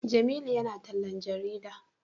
Jamilu ya na tallan jarida